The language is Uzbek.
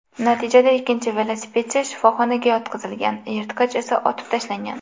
Natijada ikkinchi velosipedchi shifoxonaga yotqizilgan, yirtqich esa otib tashlangan.